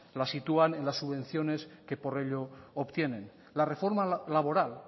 la sitúan en la subvenciones que por ello obtienen la reforma laboral